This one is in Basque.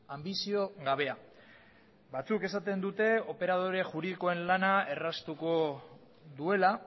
anbizio gabea batzuk esaten dute operadore juridikoen lana erraztuko duela